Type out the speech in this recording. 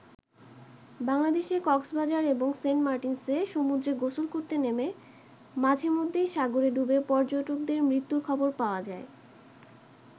বাংলাদেশে কক্সবাজার এবং সেন্ট মার্টিনসে সমুদ্রে গোসল করতে নেমে মাঝে মধ্যেই সাগরে ডুবে পর্যটকদের মৃত্যুর খবর পাওয়া যায়।